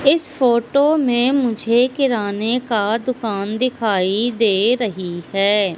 इस फोटो में मुझे किराने का दुकान दिखाई दे रही हैं।